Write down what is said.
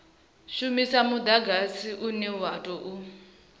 shumisa mudagsai une wa tou